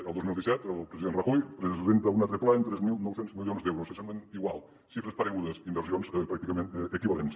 el dos mil disset el president rajoy presenta un altre pla amb tres mil nou cents milions d’euros que semblen iguals xifres paregudes inversions pràcticament equivalents